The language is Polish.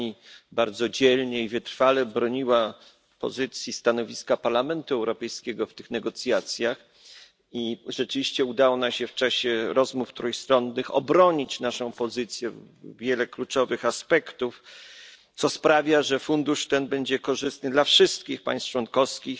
Pani bardzo dzielnie i wytrwale broniła stanowiska Parlamentu Europejskiego w tych negocjacjach i rzeczywiście udało nam się w czasie rozmów trójstronnych obronić naszą pozycję, wiele jej kluczowych aspektów, co sprawia, że fundusz ten będzie korzystny dla wszystkich państw członkowskich